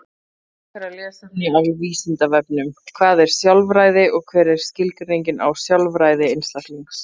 Frekara lesefni af Vísindavefnum: Hvað er sjálfræði og hver er skilgreiningin á sjálfræði einstaklings?